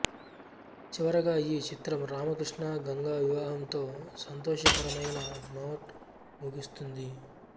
చివరగా ఈ చిత్రం రామకృష్ణ గంగా వివాహం తో సంతోషకరమైన నోట్ ముగుస్తుంది